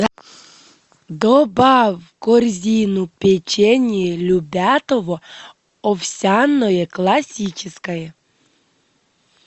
добавь в корзину печенье любятово овсяное классическое